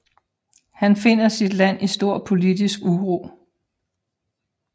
Han finder sit land i stor politisk uro